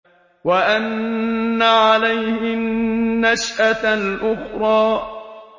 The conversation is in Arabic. وَأَنَّ عَلَيْهِ النَّشْأَةَ الْأُخْرَىٰ